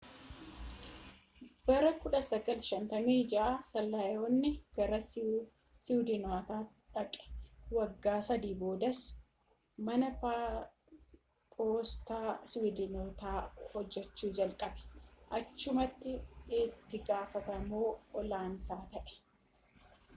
bara 1956 silaaniyaan gara iswiidinotaa dhaqe, waggaa sadii boodas mana poostaa iswiidotaa hojjechuu jalqabe achumatti itti gaafatama oolanaas ta’e